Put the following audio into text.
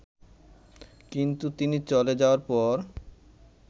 কিন্তু তিনি চলে যাওয়ার পর